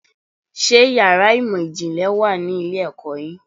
Ṣé yàrá ìmọ̀ ìjìnlẹ̀ wà ní ilé-ẹ̀kọ́ yín?